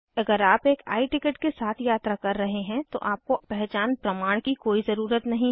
अगर आप एक I टिकट के साथ यात्रा कर रहे हैं तो आपको पहचान प्रमाण की कोई ज़रुरत नहीं है